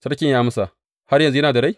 Sarki ya amsa, Har yanzu yana da rai?